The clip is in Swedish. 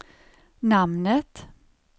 namnet